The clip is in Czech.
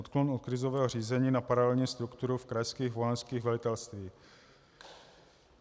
Odklon od krizového řízení na paralelní strukturu v krajských vojenských velitelstvích.